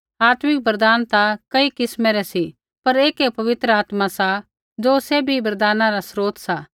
आत्मिक वरदान ता कई किस्मा रै सी पर ऐकै पवित्र आत्मा सा ज़ो सैभी वरदाना रा स्रोत सा